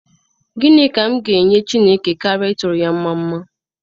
Gịnị ka m ga enye Chineke karịa ịtụrụ ya mma mma?